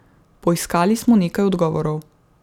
Poiskali smo nekaj odgovorov.